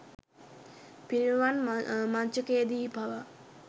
පිරිනිවන් මඤ්චකයේ දී පවා